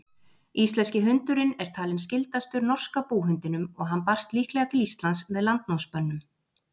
Íslenski hundurinn er talinn skyldastur norska búhundinum og hann barst líklega til Íslands með landnámsmönnum.